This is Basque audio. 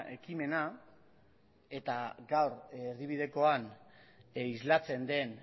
ekimena eta gaur erdibidekoan islatzen den